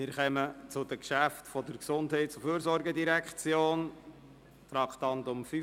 Wir kommen zu den Geschäften der GEF, zuerst zum Traktandum 85: